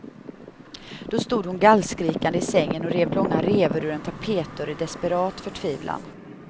Då stod hon gallskrikande i sängen och rev långa revor ur en tapetdörr i desperat förtvivlan.